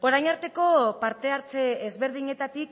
orain arteko parte hartze ezberdinetatik